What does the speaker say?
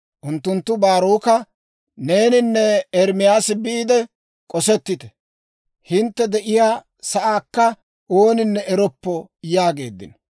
Unttunttu Baaroka, «Neeninne Ermaasi biide k'osettite; hintte de'iyaa sa'aakka ooninne eroppo» yaageeddino.